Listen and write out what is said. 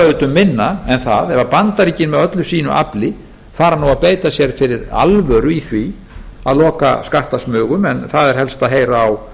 auðvitað um minna en það ef bandaríkin með öllu sínu afli fara að beita sér fyrir alvöru í því að loka skattasmugum en það er helst að heyra á